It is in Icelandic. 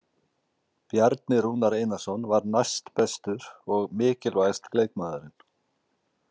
Bjarni Rúnar Einarsson var næstbestur og mikilvægasti leikmaðurinn.